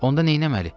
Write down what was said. Onda neynəməli?